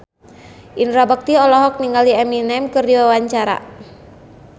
Indra Bekti olohok ningali Eminem keur diwawancara